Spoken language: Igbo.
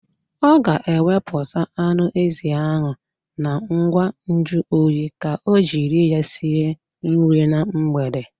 Ọ ga-ewepụta anụ ezi ahụ na ngwa nju oyi ka o jiri ya sie nri na mgbede.